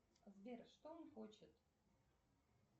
сбер что он хочет